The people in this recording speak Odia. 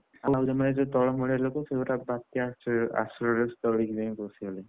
ଆମ ଆଡେ ଯୋଉ ତଳ ମାଳିଆ ଲୋକ ସେ ସବୁ ବାତ୍ୟା ~ଆଶ୍ର ଆଶ୍ରୟସ୍ଥଳୀରେ ଯାଇ ରହିଛନ୍ତି।